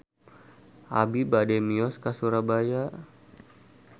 Abi bade mios ka Surabaya